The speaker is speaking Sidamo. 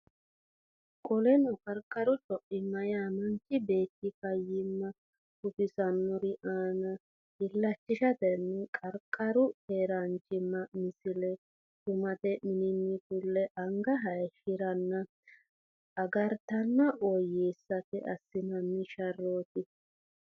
Qoleno qarqaru co imma yaa manchi beetti fayyimma gufissannori aana illachishatenni qarqaru keeraanchimma Misile Shumate mininni fule anga hayishshi ranna agaratenna woyyeessate assinanni sharrooti.